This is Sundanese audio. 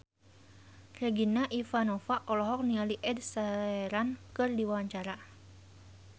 Regina Ivanova olohok ningali Ed Sheeran keur diwawancara